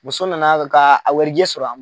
Muso nana ka warijɛ sɔrɔ